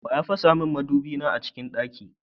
Waya fasamin madubi na a cikin ɗaki?